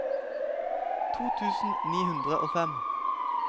to tusen ni hundre og fem